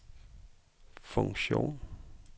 funktion